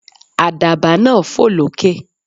Àdàbà náà fò lókè.